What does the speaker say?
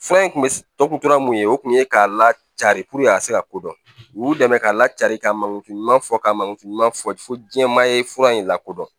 Fura in kun bɛ tɔgɔ tun tra mun ye o tun ye k'a lacaari puruke a ka se ka kodɔn u y'u dɛmɛ k'a lacari ka mangini ɲuman fɔ ka mangi ɲuman fɔ fo jɛma ye fura in lakodɔn